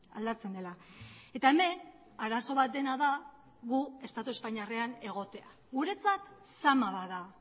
aldatzen dela eta hemen arazo bat dena da gu estatu espainiarrean egotea guretzat zama bat da